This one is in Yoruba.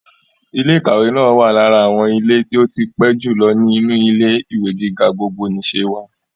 Ilé ìkàwé náà wà lára àwọn ilé tí ó tí pẹ́ jù lọ ní inú ilé-ìwé gíga gbogbonìse wa.